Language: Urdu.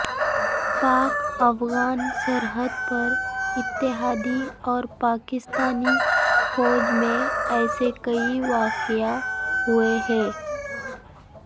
پاک افغان سرحد پر اتحادی اور پاکستانی فوج میں ایسے کئی واقعے ہوئے ہیں